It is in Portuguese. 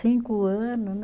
Cinco ano, né?